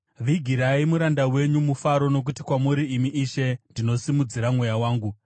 Vigirai muranda wenyu mufaro, nokuti kwamuri, imi Ishe, ndinosimudzira mweya wangu.